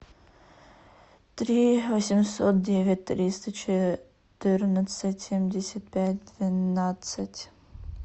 три восемьсот девять триста четырнадцать семьдесят пять двенадцать